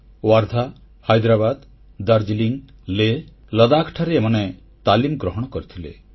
ୱାର୍ଦ୍ଧା ହାଇଦ୍ରାବାଦ ଦାର୍ଜିଲିଂ ଲେହ ଲଦାଖଠାରେ ଏମାନେ ତାଲିମ ଗ୍ରହଣ କରିଥିଲେ